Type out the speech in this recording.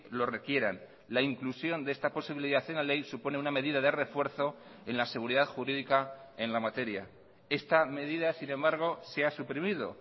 lo requieran la inclusión de esta posibilidad en la ley supone una medida de refuerzo en la seguridad jurídica en la materia esta medida sin embargo se ha suprimido